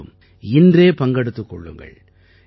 நீங்களும் இன்றே பங்கெடுத்துக் கொள்ளுங்கள்